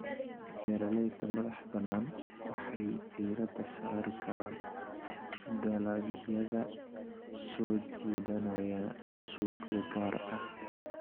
Beeralayda madaxbannaan waxay diiradda saari karaan dalagyada soo jiidanaya suuqyo gaar ah.